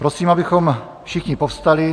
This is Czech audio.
Prosím, abychom všichni povstali.